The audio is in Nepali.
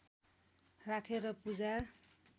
राखेर पूजा